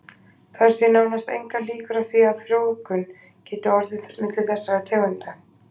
Það eru því nánast engar líkur á því að frjóvgun geti orðið milli þessara tegunda.